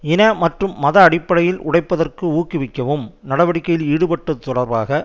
இன மற்றும் மத அடிப்படையில் உடைப்பதற்கு ஊக்குவிக்கவும் நடவடிக்கையில் ஈடுபட்டது தொடர்பாக